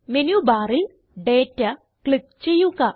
menu ബാറിൽ data click ചെയ്യുക